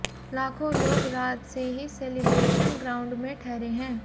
लाखों लोग रात से ही सेलिब्रेशन ग्राउंड में ठहरे हैं